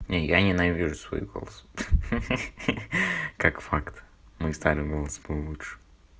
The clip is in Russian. не я ненавижу свой голос ха-ха как факт мой старый голос был лучше